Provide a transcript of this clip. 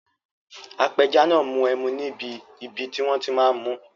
Apẹja náà n mu ẹmu níbi ibi tí wọ́n ti máa n mú